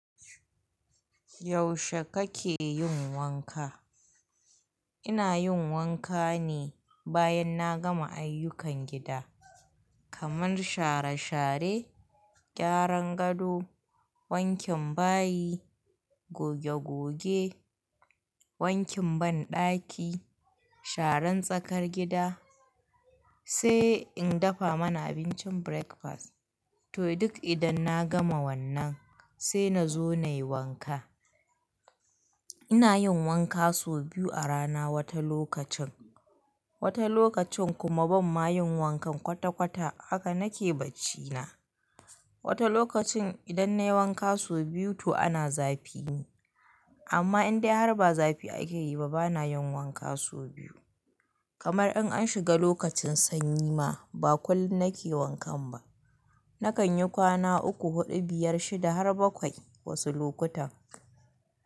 Yaushe kake yin wanka? Ina yin wanka ne bayan na gama ayyukan gida, kaman share share, gyaran gado, wankin bayi, goge goge, wankin banɗaki, sharan tsakar gida, sai in dafa mana abincin breakfast. Toh duk idan na gama wannan sai na zo na yi wanka. Ina yin wanka sau biyu a rana wata lokacin, wata lokacin kuma ban ma yin wankan kwata kwata haka nake bacina. Wata lokacin idan na yi wanka sau biyu toh ana zafi ne. Amma in dai har ba zafi ake yi ba bana yin wanka sau biyu. Kamar in an shiga lokacin sanyi ma ba kullum nake wankan ba. Nakan yi kwana uku, huɗu, biyar, shida har bakwai wasu lokutan.